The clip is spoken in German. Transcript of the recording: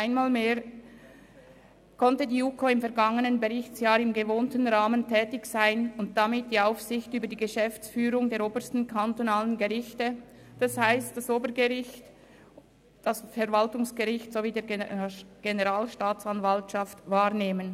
Einmal mehr konnte die JuKo im vergangenen Berichtsjahr im gewohnten Rahmen tätig sein und die Aufsicht über die Geschäftsführung der obersten kantonalen Gerichte, also des Obergerichts, des Verwaltungsgerichts sowie der Generalstaatsanwaltschaft, wahrnehmen.